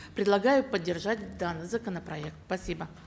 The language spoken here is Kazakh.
предлагаю поддержать данный законопроект спасибо